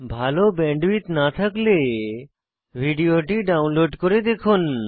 ভাল ব্যান্ডউইডথ না থাকলে ভিডিওটি ডাউনলোড করে দেখুন